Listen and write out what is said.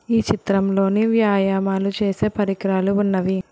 ఈ చిత్రంలోని వ్యాయామాలు చేసే పరికరాలు ఉన్నవి.